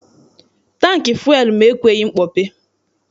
Tankị fụel m ekweghị mkpọpe.